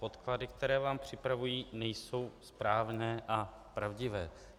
Podklady, které vám připravují, nejsou správné a pravdivé.